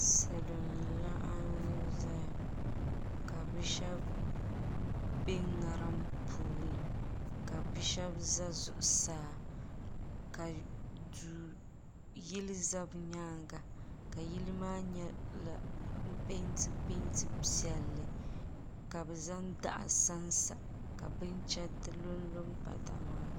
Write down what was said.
salo n laɣim ʒɛya ka be shɛbi bɛ ŋarim puuni ka bia shɛbi bɛ zuɣ saa ka do yili za be nyɛŋa ka yili maa nyɛ pɛntɛ pɛnta piɛli naba zaŋ daɣ Sansa bɛnchɛritɛ lo pa daɣ maa zuɣ